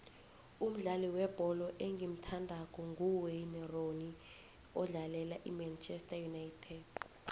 umdlali webholo engimuthandako nguwayne rooney odlalela imanchester united